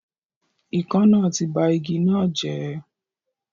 Ikán náà ti ba igi náà jẹ́